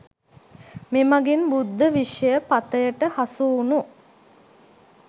මෙමගින් බුද්ධ විෂය පථයට හසුවුණු